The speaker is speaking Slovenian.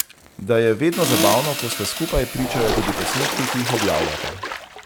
Da je vedno zabavno, ko sta skupaj, pričajo tudi posnetki, ki jih objavljata.